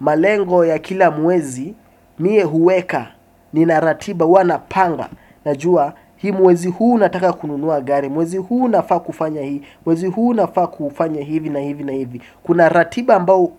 Malengo ya kila mwezi mimi huweka nina ratiba huwa napanga najua hii mwezi huu nataka kununua gari mwezi huu nafaa kufanya hii mwezi huu nafaa kufanya hivi na hivi na hivi kuna ratiba ambayo